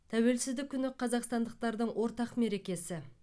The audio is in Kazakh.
тәуелсіздік күні қазақстандықтардың ортақ мерекесі